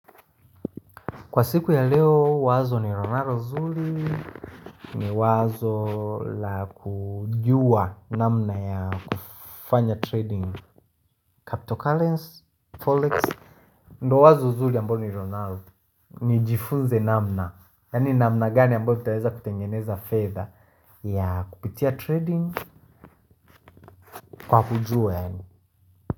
Kwa siku ya leo wazo ninalo nzuri ni wazo la kujua namna ya kufanya trading cryptocurrency, forex ndiyo wazo nzuri ambayo nilionalo. Nijifunze namna yaani namna gani ambayo nitaweza kutengeneza fedha ya kupitia trading kwa kujua yaani.